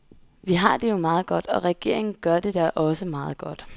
Vi har det jo meget godt, og regeringen gør det da også meget godt.